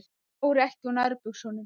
Fór ekki úr nærbuxunum.